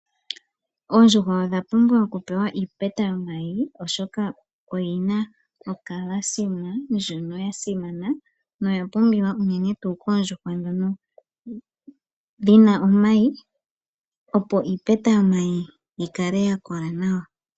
Oondjuhwa odha pumbwa okupewa iipeta yomayi oyina ocaliuma ndyono ya simana noya pumbiwa unene koondjuhwa ndhono dhina omayi opo iipeta yomayi yikale ya kola nawa.